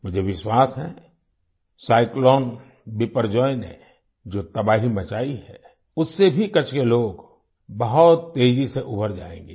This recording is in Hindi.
मुझे विश्वास है साइक्लोन बिपरजॉय ने जो तबाही मचाई है उससे भी कच्छ के लोग बहुत तेजी से उभर जाएंगे